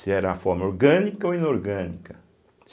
Se era a forma orgânica ou inorgânica.